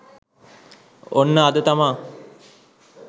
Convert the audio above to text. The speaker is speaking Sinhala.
ඔන්න අද තමා